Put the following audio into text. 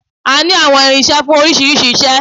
A ní àwọn irinṣẹ́ fún oríṣiríṣi iṣẹ́